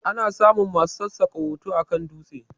Ana samun masu sassaka hoto akan dutse